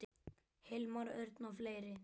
Hilmar Örn og fleiri.